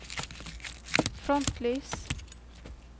frontlys